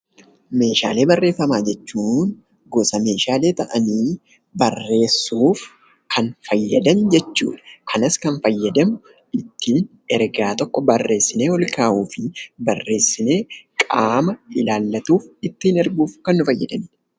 Meeshaalee barreeffamaa jechuun gosa meeshaalee ta'anii, barreessuuf kan fayyadan jechuudha. Kanas kan fayyadamnu ittiin ergaa tokko barreessinee ol kaahuu fi barreessinee qaama ilaallatuuf ittiin erguuf kan nu fayyadanidha.